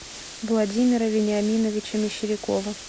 владимира вениаминовича мещерякова